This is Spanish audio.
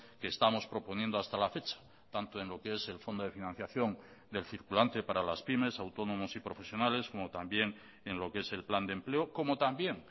que estamos proponiendo hasta la fecha tanto en lo que es el fondo de financiación del circulante para las pymes autónomos y profesionales como también en lo que es el plan de empleo como también